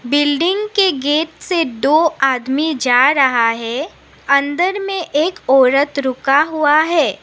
Building के gate से दो आदमी जा रहा है अंदर में एक औरत रुका हुआ है।